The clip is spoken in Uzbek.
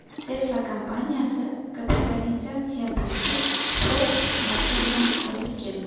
Tesla kompaniyasi kapitalizatsiya bo‘yicha Ford Motor’dan o‘zib ketdi.